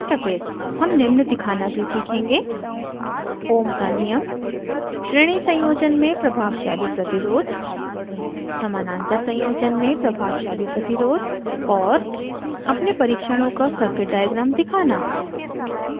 हम निम्न दिखाना भी सीखेंगे: